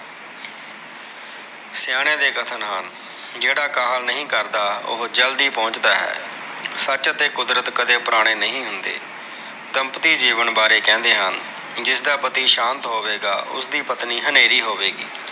ਸਿਆਣਿਆ ਦੇ ਕਥਨ ਹਨ। ਜਿਹੜਾ ਕਾਹਲ ਨਹੀਂ ਕਰਦਾ, ਉਹੋ ਜਲਦੀ ਪਹੁੰਚ ਦਾ ਹੈ। ਸੱਚ ਅਤੇ ਕੁਦਰਤ ਕਦੇ ਪੁਰਾਣੇ ਨਹੀਂ ਹੁੰਦੇ। ਦੰਪਤੀ ਜੀਵਨ ਬਾਰੇ ਕਹਿੰਦੇ ਹਨ। ਜਿਸਦਾ ਪਤੀ ਸਾਂਤ ਹੋਵੇਗਾ, ਉਸ ਦੀ ਪਤਨੀ ਹਨੇਰੀ ਹੋਵੇਗੀ।